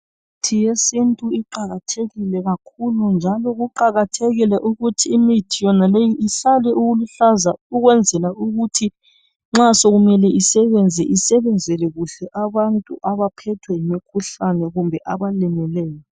Imithi yesintu iqakathekile kakhulu njalo kuqakathekile ukuthi imithi yonale ihlale iluhlaza ukwenzela ukuthi nxa sokumele isebenze isebenzele kuhle abantu abaphethwe ngumkhuhlane kumbe abalimeleyo.